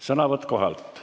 Sõnavõtt kohalt.